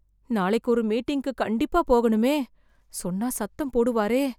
நாளைக்கு ஒரு மீட்டிங்க்கு கண்டிப்பா போகணுமே... சொன்னா, சத்தம் போடுவாரே...